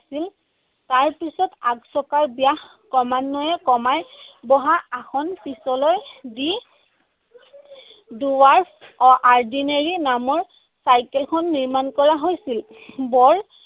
আছিল। তাৰপিছত আগচকাৰ ব্যাস ক্ৰমান্নয়ে কমাই বহাৰ আসন পিছলৈ দি নামৰ চাইকেলখন নিৰ্মাণ কৰা হৈছিল।